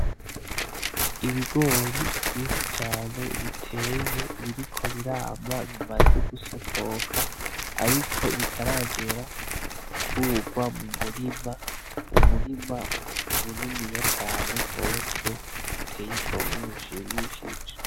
Ibigori vyinshi cane biteye biriko birama bimaze gusokoka ariko bitaragera gukurwa mu murima, umurima muniniya cane gose uteye igomwe ushimishije.